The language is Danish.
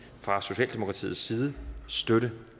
fra socialdemokratiets side støtte